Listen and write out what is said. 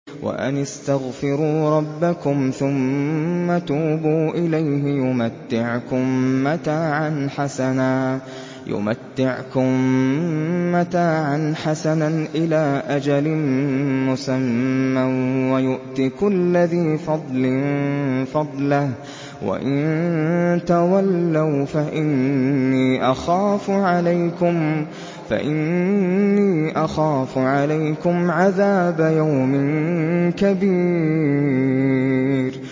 وَأَنِ اسْتَغْفِرُوا رَبَّكُمْ ثُمَّ تُوبُوا إِلَيْهِ يُمَتِّعْكُم مَّتَاعًا حَسَنًا إِلَىٰ أَجَلٍ مُّسَمًّى وَيُؤْتِ كُلَّ ذِي فَضْلٍ فَضْلَهُ ۖ وَإِن تَوَلَّوْا فَإِنِّي أَخَافُ عَلَيْكُمْ عَذَابَ يَوْمٍ كَبِيرٍ